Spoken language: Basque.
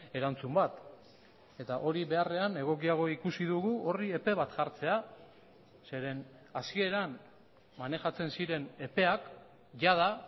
erantzun bat eta hori beharrean egokiago ikusi dugu horri epe bat jartzea zeren hasieran manejatzen ziren epeak jada